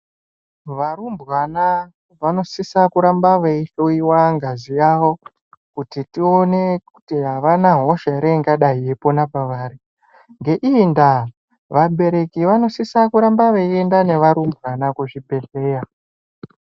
Varumbwana vanosisa veihloyiwa ngazi yavo kuti tione kuti avana hosha here ingadai yeipona pavari. Ngeiyi ndaa vabereki vanosisa kuramba veienda nevarumbwana kuzvibhedhlera.